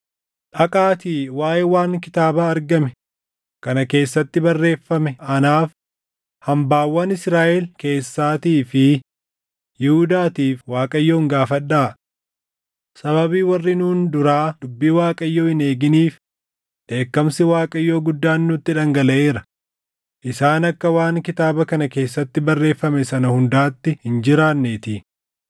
“Dhaqaatii waaʼee waan kitaaba argame kana keessatti barreeffamee anaaf, hambaawwan Israaʼel keessaatii fi Yihuudaatiif Waaqayyoon gaafadhaa. Sababii warri nuun duraa dubbii Waaqayyoo hin eeginiif dheekkamsi Waaqayyoo guddaan nutti dhangalaʼeera; isaan akka waan kitaaba kana keessatti barreeffame sana hundaatti hin jiraanneetii.”